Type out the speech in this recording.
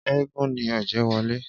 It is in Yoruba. Éégún ni Ọ̀jẹ́wọlé